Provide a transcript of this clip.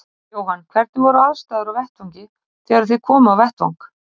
Jóhann: Hvernig voru aðstæður á vettvangi þegar þið komuð á vettvang?